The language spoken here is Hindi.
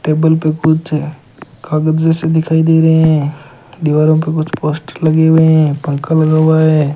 टेबल पे कुछ कागज जैसे दिखाई दे रहे हैं दीवारों पर कुछ पोस्टर लगे हुए हैं पंखा लगा हुआ है।